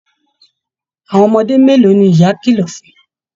Àwọn ọmọdé mélòó ní ìyá kìlọ̀ fún?